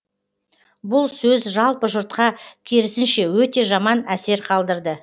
бұл сөз жалпы жұртқа керісінше өте жаман әсер қалдырды